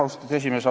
Austatud esimees!